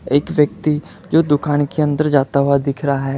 एक व्यक्ति जो दुकान के अंदर जाता हुआ दिख रहा है।